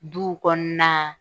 Duw kɔnɔna,